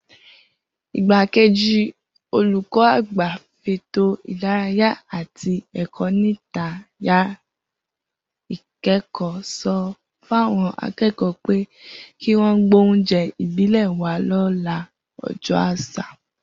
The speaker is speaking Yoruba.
Igbákejì olùkọ́-àgbà fétò ìdárayá àti è̩kó̩-níta-yàrá-ìké̩kò̩ó̩ so̩ fáwo̩n aké̩kò̩ó̩ pé kí wó̩n gbóúnjé̩ ìbílè̩ wá lọ́la o̩jó̩ às̩à